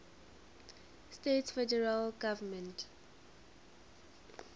states federal government